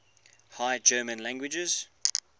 high german languages